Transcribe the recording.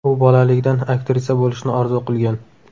U bolaligidan aktrisa bo‘lishni orzu qilgan.